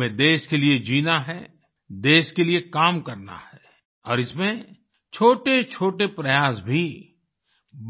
हमें देश के लिए जीना है देश के लिए काम करना है और इसमें छोटे छोटे प्रयास भी